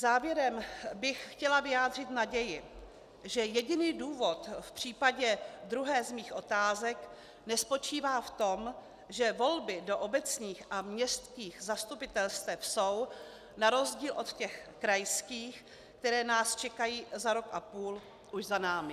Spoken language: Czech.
Závěrem bych chtěla vyjádřit naději, že jediný důvod v případě druhé z mých otázek nespočívá v tom, že volby do obecních a městských zastupitelstev jsou na rozdíl od těch krajských, které nás čekají za rok a půl, už za námi.